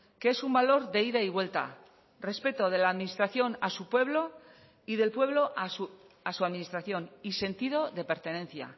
que es un valor de ida y vuelta respeto de la administración a su pueblo y del pueblo a su administración y sentido de pertenencia